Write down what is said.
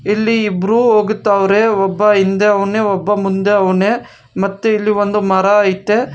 ಇಲ್ಲಿ ಇಬ್ರು ಹೋಗ್ತವರೆ ಒಬ್ಬ ಹಿಂದೆ ಅವ್ನೆ ಒಬ್ಬ ಮುಂದೆ ಅವ್ನೇ ಮತ್ತು ಇಲ್ಲಿ ಒಂದು ಮರ ಅಯ್ತೆ.